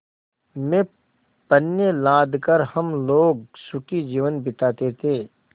में पण्य लाद कर हम लोग सुखी जीवन बिताते थे